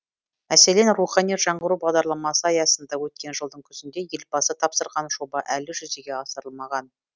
мәселен рухани жаңғыру бағдарламасы аясында өткен жылдың күзінде елбасы тапсырған жоба әлі жүзеге асырылмаған